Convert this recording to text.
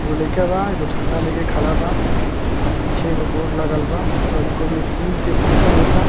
एगो लइका बा एगो झंडा ले के खड़ा बा और पीछे एगो बोर्ड लगल बा मतलब इ कउनो स्कूल के फंक्शन होता।